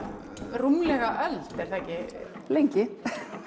rúmlega öld er það ekki lengi